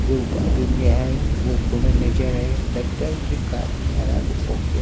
जो में आए वो नजर आए लगता है कि कार खराब हो गया--